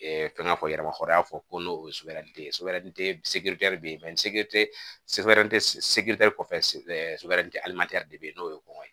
fɛn ŋa fɔ yɛrɛ mahɔrɔ ko n'o ye sobɛde ye sobɛri be yen kɔfɛ sobɛn te de be yen n'o ye kɔngɔ ye